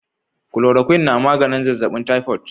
Chloroquine na maganin zazzabin typhoid.